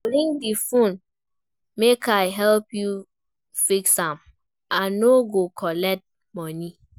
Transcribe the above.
Bring di fone make I help you fix am, I no go collect moni.